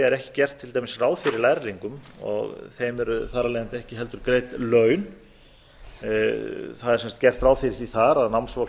er til dæmis ekki gert ráð fyrir lærlingum og þeim er þar af leiðandi ekki heldur greidd laun það er sem sagt gert ráð fyrir því þar að námsfólk